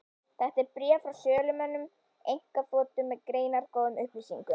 Þetta er bréf frá sölumönnum einkaþotu, með greinargóðum upplýsingum.